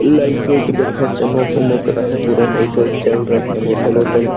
Light वाईट बढ़ियाँ चमक-वमक रहा है पूरा लाइट वाइट जल रहा है बोटल वोटल है।